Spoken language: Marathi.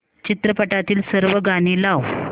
चित्रपटातील सर्व गाणी लाव